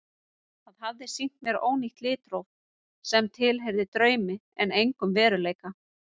Það hafði sýnt mér ónýtt litróf sem tilheyrði draumi en engum veruleika.